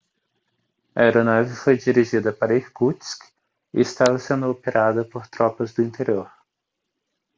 a aeronave foi dirigida para irkutsk e estava sendo operada por tropas do interior